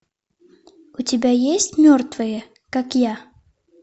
у тебя есть мертвые как я